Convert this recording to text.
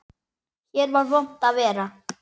Hér var vont að vera.